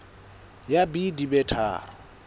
ya b di be tharo